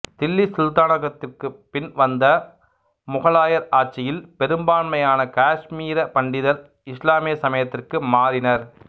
தில்லி சுல்தானகத்திற்குப் பின் வந்த முகலாயர் ஆட்சியில் பெரும்பான்மையான காஷ்மீர பண்டிதர் இசுலாமிய சமயத்திற்கு மாறினர்